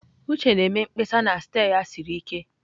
Uche na-eme mkpesa na steer ya siri ike.